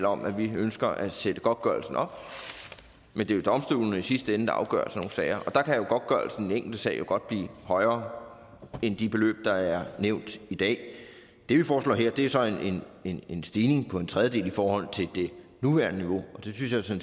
om at vi ønsker at sætte godtgørelsen op men det er domstolene der i sidste ende afgør sådan nogle sager og der kan godtgørelsen enkelte sag jo godt blive højere end de beløb der er nævnt i dag det vi foreslår her er så en stigning på en tredjedel i forhold til det nuværende niveau og det synes jeg